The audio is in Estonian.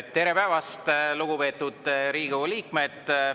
Tere päevast, lugupeetud Riigikogu liikmed!